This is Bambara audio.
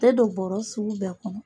Tɛ don bɔɔrɔ sugu bɛɛ kɔnɔ.